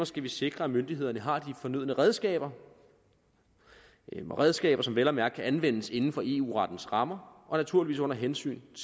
skal vi sikre at myndighederne har de fornødne redskaber redskaber som vel at mærke kan anvendes inden for eu rettens rammer og naturligvis under hensyntagen